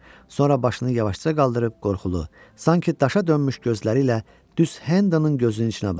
Sonra başını yavaşca qaldırıb qorxulu, sanki daşa dönmüş gözləri ilə düz Hendonun gözünün içinə baxdı.